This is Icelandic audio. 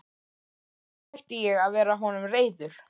En svo hætti ég að vera honum reiður.